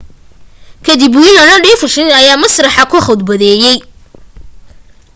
ka dib whirling dervishes ayaa masraxa ka khudbeeyay